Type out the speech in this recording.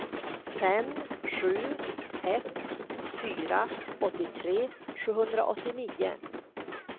fem sju ett fyra åttiotre sjuhundraåttionio